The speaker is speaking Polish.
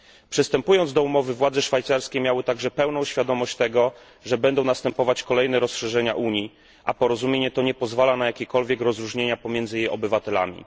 Przystępując do umowy, władze szwajcarskie miały także pełną świadomość tego, że będą następować kolejne rozszerzenia Unii, a porozumienie to nie pozwala na jakiekolwiek rozróżnienia pomiędzy jej obywatelami.